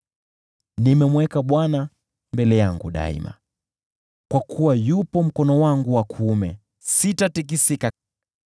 Nimemweka Bwana mbele yangu daima. Kwa sababu yuko mkono wangu wa kuume, sitatikisika.